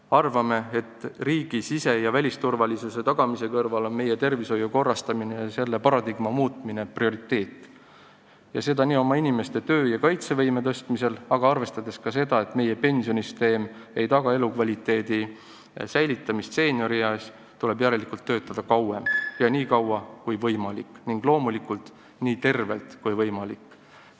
Arvame, et riigi sise- ja välisturvalisuse tagamise kõrval on prioriteet tervishoiu korrastamine ja selle paradigma muutmine, seda nii inimeste töö- ja kaitsevõime tõstmiseks, aga arvestades ka seda, et meie pensionisüsteem ei taga elukvaliteedi säilitamist seeniorieas, järelikult tuleb töötada kauem ja nii kaua kui võimalik ning loomulikult nii tervelt kui võimalik.